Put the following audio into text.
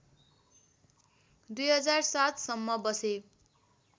२००७ सम्म बसे